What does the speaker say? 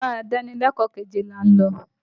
Yàrá ìdánilẹ́kọ̀ọ́ kejì là ń lọ.